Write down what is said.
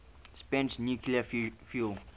spent nuclear fuel